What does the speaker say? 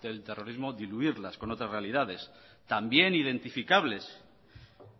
del terrorismo diluirlas con otras realidades también identificables